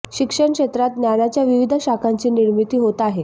शिक्षण क्षेत्रात ज्ञानाच्या विविध शाखांची निर्मिती होत आहे